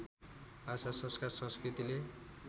भाषा संस्कार संस्कृतिले